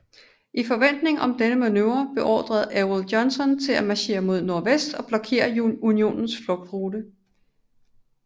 I forventning om denne manøvre beordrede Ewell Johnson til at marchere mod nordvest og blokere unionens flugtrute